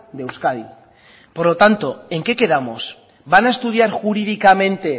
de euskadi por lo tanto en qué quedamos van a estudiar jurídicamente